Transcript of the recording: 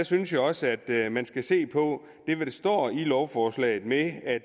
synes jeg også at man skal se på det der står i lovforslaget med at